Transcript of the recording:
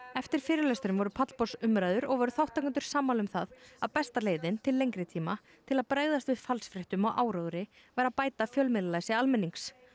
eftir fyrirlesturinn voru pallborðsumræður og voru þátttakendur sammála um það að besta leiðin til lengri tíma til að bregðast við falsfréttum og áróðri væri að bæta fjölmiðlalæsi almennings